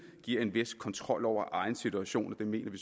giver en vis kontrol over egen situation og det mener vi